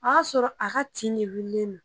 A y'a sɔrɔ a ka ti ne wiulilen no